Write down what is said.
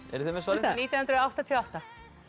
eruð þið með svarið nítján hundruð áttatíu og átta